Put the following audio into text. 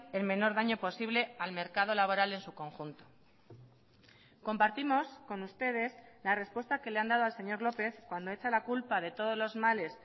el menor daño posible al mercado laboral en su conjunto compartimos con ustedes la respuesta que le han dado al señor lópez cuando hecha la culpa de todos los males